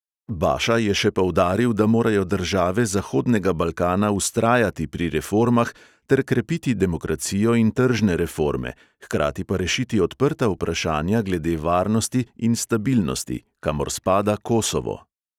Baša je še poudaril, da morajo države zahodnega balkana vztrajati pri reformah ter krepiti demokracijo in tržne reforme, hkrati pa rešiti odprta vprašanja glede varnosti in stabilnosti, kamor spada kosovo.